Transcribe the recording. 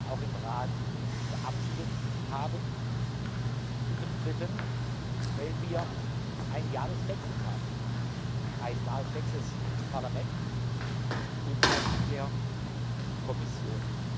auch im Rat, verabschiedet haben, und zum Dritten, weil wir ein Jahr des Wechsels haben, ein Jahr des Wechsels im Parlament und auch in der Kommission.